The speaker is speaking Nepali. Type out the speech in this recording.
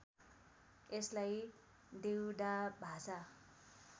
यसलाई देउडा भाषा